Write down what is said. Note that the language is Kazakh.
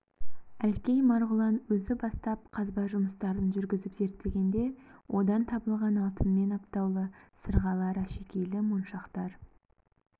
әлкей марғұлан өзі бастап қазба жұмыстарын жүргізіп зерттегенде одан табылған алтынмен аптаулы сырғалар әшекейлі моншақтар